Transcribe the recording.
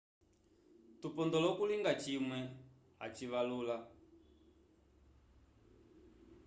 tupondola okulinga cimwe acivalula